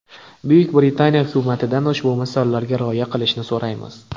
Buyuk Britaniya hukumatidan ushbu misollarga rioya qilishni so‘raymiz.